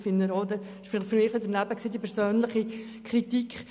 Diese persönliche Kritik empfinde ich als nicht angemessen.